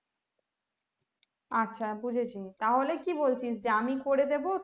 আচ্ছা বুঝেছি তাহলে কি বলছিস আমি করে দিবো